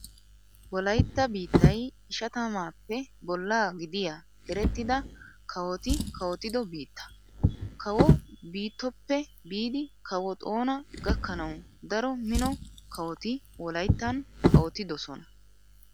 Wolaytta biittay ishatamaappe bollaa gidiyaa erettida kawoti kawottido biitta. Kawo Biittoppe biidi kawo Xoona gakkanawu daro mino kawoti Wolayttan kawottidosona .